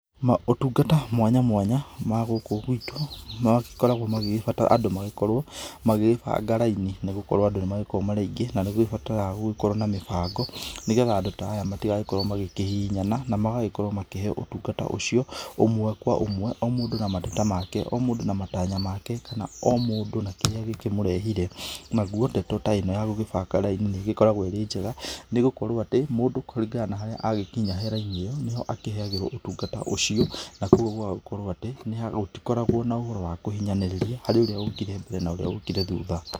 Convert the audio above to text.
Maũtungata mwanya mwanya magũkũ gwitũ magikoragwo magĩbatara andũ magĩkorwo magĩbanga raini nĩ gũkorwo andũ nĩmakoragwo marĩ aingĩ na nĩkũbataraga gũkorwo na mĩbango nĩgetha andũ ta aya matigagĩkorwo magĩkĩhihinyana na magagĩkorwo makĩheo ũtungata ũcio ũmwe kwa ũmwe o mũndũ na mateta make, o mũndũ na matanya make kana o mũndũ na kĩrĩa gĩkĩmurehire. Naguo ndeto ta ĩno ya gũkĩbanga raini nĩgĩkoragwo ĩrĩ njega nĩgũkorwo atĩ mũndũ kũringana na haria agĩkinya he raini ĩyo nĩ ho akĩheagĩrwo ũtungata ũcio na kũoguo gũtikoragwo na ũhoro wa kũhihinyanĩrĩria kũrĩ ũrĩa ũkire mbere na ũrĩa ũkire thutha.